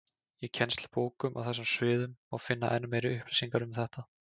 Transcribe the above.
Í kennslubókum á þessum sviðum má finna enn meiri upplýsingar um þetta.